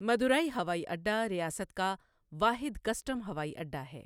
مدورائی ہوائی اڈہ ریاست کا واحد کسٹم ہوائی اڈہ ہے۔